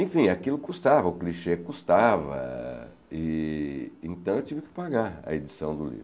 Enfim, aquilo custava, o clichê custava, e então eu tive que pagar a edição do livro.